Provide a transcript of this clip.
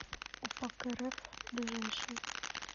упакрф ближайший